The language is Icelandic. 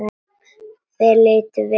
Þeir litu við.